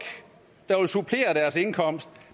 der vil supplere deres indkomst